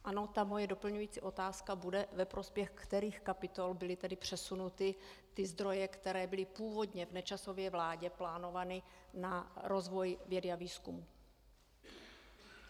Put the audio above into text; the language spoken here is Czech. Ano, ta moje doplňující otázka bude: Ve prospěch kterých kapitol byly tedy přesunuty ty zdroje, které byly původně v Nečasově vládě plánovány na rozvoj, vědu a výzkum?